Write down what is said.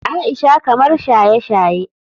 Aisha kamar shaye-shaye.